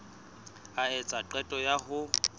a etsa qeto ya ho